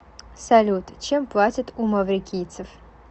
салют чем платят у маврикийцев